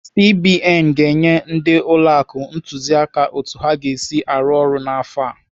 CBN ga-enye ndị ụlọ akụ ntụziaka otu ha ga-esi arụ ọrụ n'afọ a.